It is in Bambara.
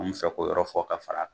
An me fɛ ko yɔrɔ fɔ k'a fara kan